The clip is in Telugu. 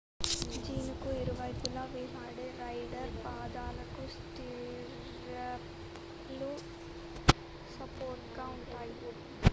జీనుకు ఇరువైపులా వేలాడే రైడర్ పాదాలకు స్టిర్రప్ లు సపోర్ట్ గా ఉంటాయి